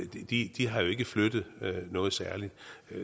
de de har jo ikke flyttet noget særligt